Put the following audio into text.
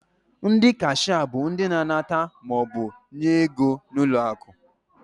Ndị kashịa bụ ndị na-anata maọbụ nye ego n'ụlọakụ.